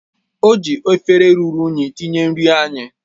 O ji efere ruru unyi tinye nri anyị